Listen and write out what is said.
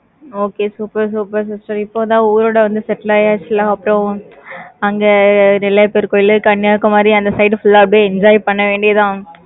okay super super sister. இப்போதான், ஊரோட வந்து, settle ஆயாச்சுல. அப்புறம், அங்கே, நெல்லையப்பர் கோயில், கன்னியாகுமரி, அந்த side full ஆ, அப்படியே, enjoy பண்ண வேண்டியதுதான்.